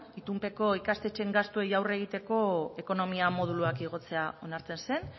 itunpeko ikastetxeen gastuei aurre egiteko ekonomia moduluak igotzea onartzen zen